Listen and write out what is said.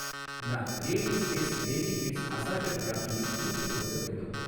நான் creative space baby kids assorted ராக்கியை திருப்பிக் கொடுக்க வேண்டும்